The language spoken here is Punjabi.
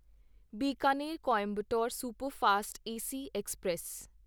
ਬੀਕਾਨੇਰ ਬਾਂਦਰਾ ਰਾਣਕਪੁਰ ਐਕਸਪ੍ਰੈਸ